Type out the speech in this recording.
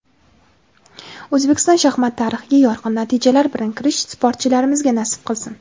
O‘zbekiston shaxmat tarixiga yorqin natijalar bilan kirish sportchilarimizga nasib qilsin.